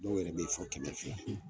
Dɔw yɛrɛ be yen fɔ kɛmɛ fila.